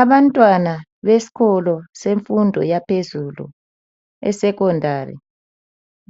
Abantwana besikolo yemfundo yaphezulu eSecondary